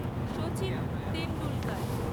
Sachin Tendulkar